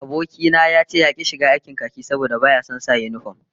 Aboki na ya ce yaki shiga aikin khaki saboda baya son sa yinifom